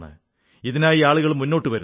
ഇതിനായി ആളുകൾ മുന്നോട്ടു വരുന്നു